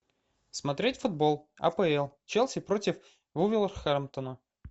смотреть футбол апл челси против вулверхэмптона